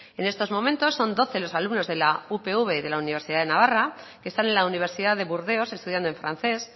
en estos momentos son doce los alumnos de la upv y la universidad de navarra que están en la universidad de burdeos estudiando en francés